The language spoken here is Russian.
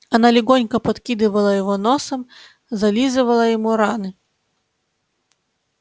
она легонько подкидывала его носом зализывала ему раны